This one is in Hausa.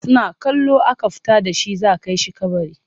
Suna kallo aka fita da shi za a kai shi kabari.